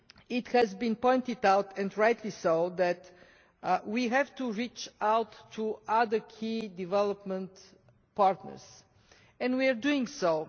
It has been pointed out, and rightly so, that we have to reach out to other key development partners, and we are doing so.